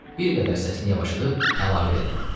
Bir qədər səsini yavaşıdıb əlavə elədi.